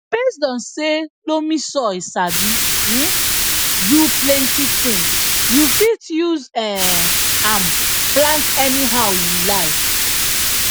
based on say loamy soil sabi um do plenty tins you fit use um am plant anyhow you like